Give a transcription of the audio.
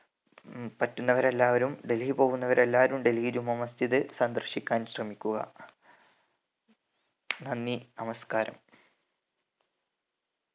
പറ്റുന്നവരെല്ലാവക്കും ഡൽഹി പോവുന്നവരെല്ലാവരും ഡൽഹിജുമാ മസ്ജിദ് സന്ദർശിക്കാൻ ശ്രമിക്കുക നന്ദി നമസ്ക്കാരം